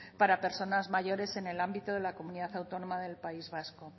para personas mayores en el ámbito de la comunidad autónoma del país vasco